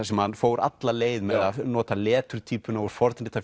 sem hann fór alla leið með að nota leturtýpuna úr